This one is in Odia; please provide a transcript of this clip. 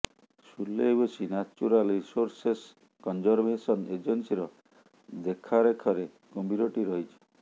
ସୁଲେୱେସୀ ନ୍ୟାଚୁରାଲ ରିସୋର୍ସେସ୍ କଞ୍ଜରଭେସନ ଏଜନ୍ସୀର ଦେଖରେଖରେ କୁମ୍ଭୀରଟି ରହିଛି